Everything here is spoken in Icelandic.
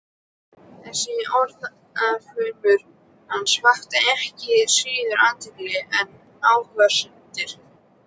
Þessi orðaflaumur hans vakti ekki síður athygli en athugasemdir